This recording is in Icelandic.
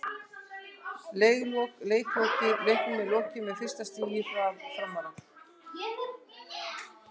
Leik lokið: Leiknum er lokið með fyrsta sigri Framara!!